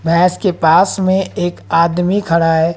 भैंस के पास में एक आदमी खड़ा है।